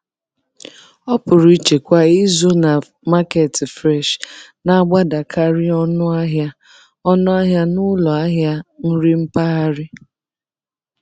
Ọpụrụiche kwa izu na Market Fresh na-agbadakarị ọnụ ahịa ọnụ ahịa n'ụlọ ahịa nri mpaghara.